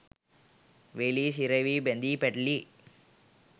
වෙලී සිරවී බැඳී පැටලී